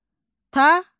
Taxıl.